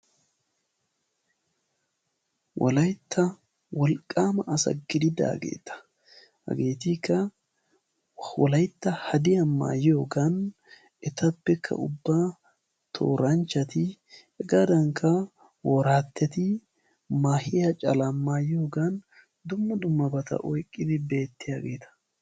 Wolaytta wolqqaama asa gididaageta hageetikka wolaytta hadiyaa maayiyoogan etapekka ubba tooranchchati hegaadankka woraatetti maahiyaa calaa maayiyoogan dumma dummabata oyqqidi beettiyaageta.